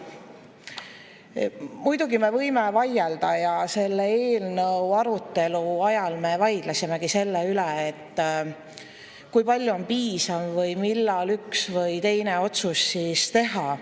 Muidugi me võime vaielda ja selle eelnõu arutelu ajal me vaidlesimegi selle üle, kui palju on piisav või millal üks või teine otsus teha.